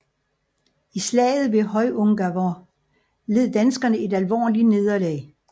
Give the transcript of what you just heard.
I Slaget ved Hjørungavåg led danskerne et alvorligt nederlag